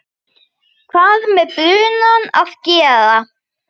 hvað með brunann að gera.